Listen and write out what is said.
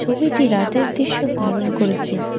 ছবিটি রাতের দৃশ্য ধারণ করেছে।